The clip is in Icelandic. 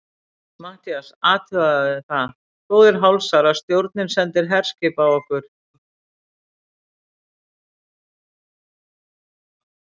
MATTHÍAS: Athugið það, góðir hálsar, að stjórnin sendir herskip á okkur!